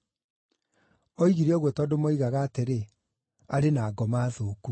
Oigire ũguo tondũ moigaga atĩrĩ, “Arĩ na ngoma thũku.”